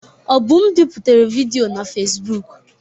Obum biputere vidiyo na Fezbụk.